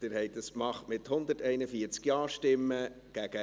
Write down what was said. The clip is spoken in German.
Das haben Sie getan, mit 141 Ja-Stimmen mit 1 Nein-Stimme bei 0 Enthaltungen.